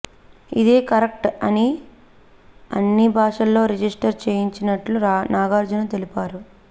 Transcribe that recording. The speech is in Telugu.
ఇదే కరెక్ట్ అని అన్ని భాషల్లో రిజిస్టర్ చేయించినట్లు నాగార్జున తెలిపారు